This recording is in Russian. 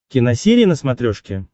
киносерия на смотрешке